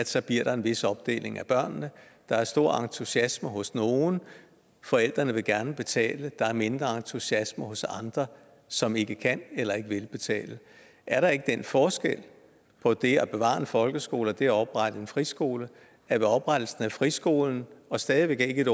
så bliver en vis opdeling af børnene der er stor entusiasme hos nogle forældrene vil gerne betale der er mindre entusiasme hos andre som ikke kan eller ikke vil betale er der ikke den forskel på det at bevare en folkeskole og det at oprette en friskole at ved oprettelsen af friskolen og stadig væk ikke et